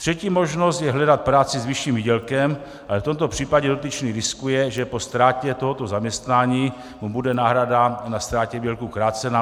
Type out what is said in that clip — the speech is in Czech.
Třetí možnost je hledat práci s vyšším výdělkem, ale v tomto případě dotyčný riskuje, že po ztrátě tohoto zaměstnání mu bude náhrada na ztrátě výdělku krácena.